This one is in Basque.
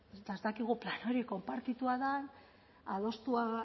eta ez dakigu hori konpartitua den adostua